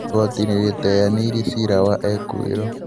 igoti nĩrĩteanĩrĩ cira wa ekũĩrwo